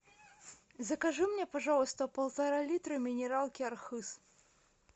закажи мне пожалуйста полтора литра минералки архыз